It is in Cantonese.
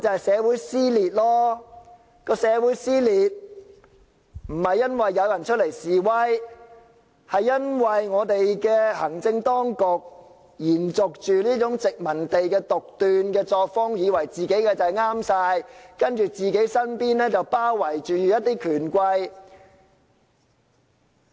社會撕裂不是因為有人出來示威，而是因為行政當局延續了殖民地的獨斷作風，以為自己一定全對，而身邊則包圍着權貴。